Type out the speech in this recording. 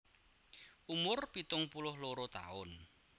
Umur pitung puluh loro taun